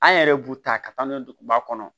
An yɛrɛ b'u ta ka taa n'u ye duguba kɔnɔ